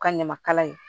U ka ɲamakala ye